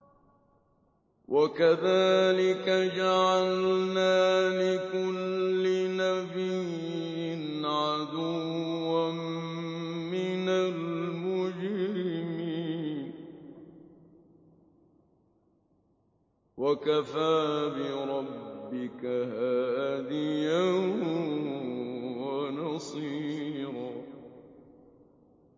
وَكَذَٰلِكَ جَعَلْنَا لِكُلِّ نَبِيٍّ عَدُوًّا مِّنَ الْمُجْرِمِينَ ۗ وَكَفَىٰ بِرَبِّكَ هَادِيًا وَنَصِيرًا